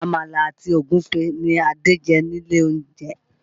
Àmàlà àti Ògúfe ní Adé jẹ ilé olóúnjẹ